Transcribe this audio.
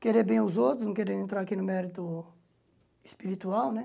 Querer bem aos outros, não querer entrar aqui no mérito espiritual, né?